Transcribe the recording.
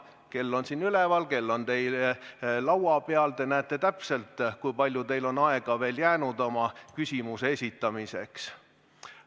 Kell on siin üleval, kell on teie laua peal, te näete täpselt, kui palju teil on aega jäänud oma küsimuse esitamiseks.